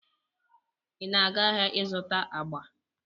Ị na-aga ahịa ịzụta agba?